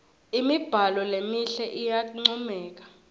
imibhalo lemihle iyancomeka